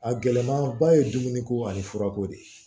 A gɛlɛmaba ye dumuni ko ani furako de